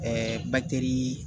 Ɛɛ